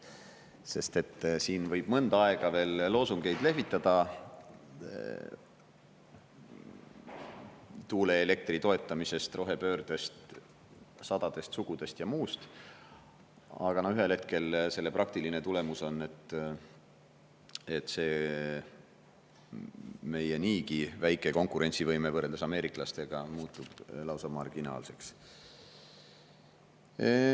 Sest siin võib mõnda aega veel lehvitada loosungeid tuuleelektri toetamisest, rohepöördest, sadadest sugudest ja muust, aga ühel hetkel selle praktiline tulemus on, et meie niigi väike konkurentsivõime võrreldes ameeriklastega muutub lausa marginaalseks.